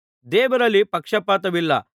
ದೇವರಲ್ಲಿ ಪಕ್ಷಪಾತವಿಲ್ಲ